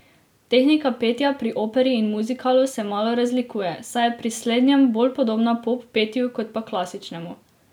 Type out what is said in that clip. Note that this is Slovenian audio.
Tehnika petja pri operi in muzikalu se malo razlikuje, saj je pri slednjem bolj podobna pop petju kot pa klasičnemu.